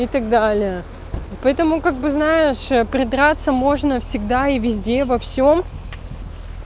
и так далее и поэтому как бы знаешь придраться можно всегда и везде во всем